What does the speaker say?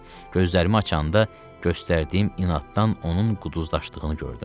Gözlərimi açanda göstərdiyim inaddan onun quduzlaşdığını gördüm.